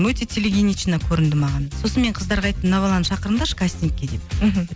өте телегенично көрінді маған сосын мен қыздарға айттым мына баланы шақырыңдаршы кастингке деп мхм